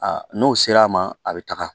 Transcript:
Aa n'o sera a ma a bɛ taga